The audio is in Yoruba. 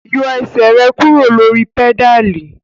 Yọ ẹsẹ rẹ kuro lori pedali!